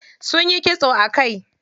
Sunyi kitso a kai.